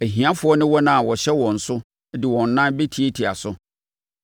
Ahiafoɔ ne wɔn a wɔhyɛ wɔn so de wɔn nan bɛtiatia so.